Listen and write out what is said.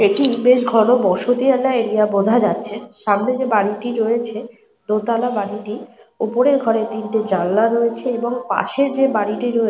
এটি বেশ ঘন বসতিওয়ালা এরিয়া বোঝা যাচ্ছে। সামনে যে বাড়িটি রয়েছে দোতলা বাড়িটি ওপরের ঘরে তিনটি জানলা রয়েছে এবং পাশের যে বাড়িটি রয়ে--